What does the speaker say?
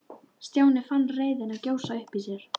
Stjáni fann reiðina gjósa upp í sér.